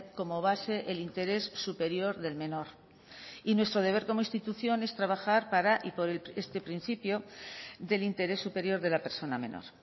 como base el interés superior del menor y nuestro deber como institución es trabajar para y por este principio del interés superior de la persona menor